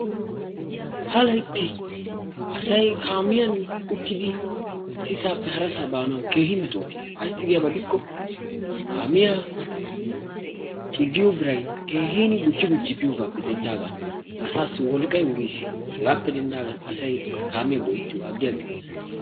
Ha laytti asay kaamiyan uttidi issisape harasa baanawu keehi metootiis. Ayssi giyaba giddikko kaamiyaa ciggiyo biray keehi gujji gujji biyogaappe denddidagan asaassi wolqqay wuriis. Hegaappe denddaagan asay kaamiya go'ettiyoga aggi aggi bees.